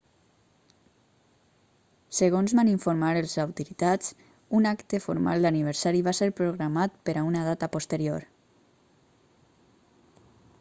segons van informar les autoritats un acte formal d'aniversari va ser programat per a una data posterior